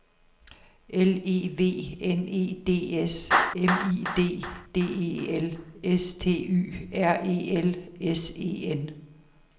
L E V N E D S M I D D E L S T Y R E L S E N